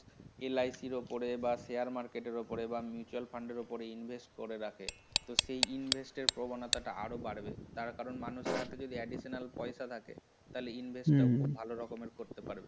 LIC উপরে বা share market র উপরে বা mutual fund উপরে invest করে রাখে সেই invest প্রবণতাটা আরো বাড়বে কারণ তারা মানুষের হাতে যদি additional পয়সা থাকে তাহলে invest খুব ভালোমতো করতে পারে